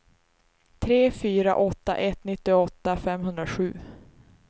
tre fyra åtta ett nittioåtta femhundrasju